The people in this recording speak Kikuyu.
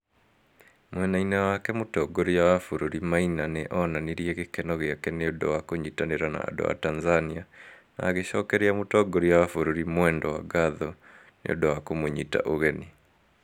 Mwena-inĩ wake, Mũtongoria wa bũrũri Maina nĩ onanirie gĩkeno gĩake nĩ ũndũ wa kũnyitanĩra na andũ a Tanzania na agĩcokeria Mũtongoria wa bũrũri Mwendwa ngatho nĩ ũndũ wa kũmũnyita ũgeni.